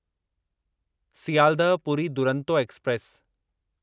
Sealdah Puri Duronto express